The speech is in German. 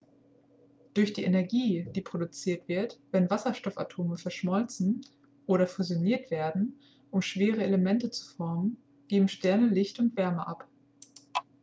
durch die energie die produziert wird wenn wasserstoffatome verschmolzen oder fusioniert werden um schwerere elemente zu formen geben sterne licht und wärme ab